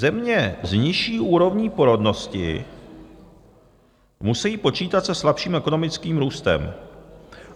Země s nižší úrovní porodnosti musí počítat se slabším ekonomickým růstem.